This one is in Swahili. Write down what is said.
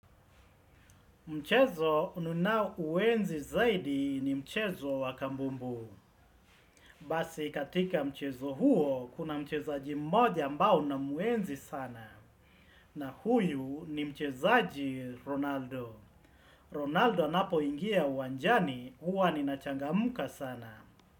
Mchezo ninao uenzi zaidi ni mchezo wakabumbu. Basi katika mchezo huo, kuna mchezaji mmoja ambae na muenzi sana. Na huyu ni mchezaji Ronaldo. Ronaldo anapo ingia uwanjani, huwa nina changamka sana.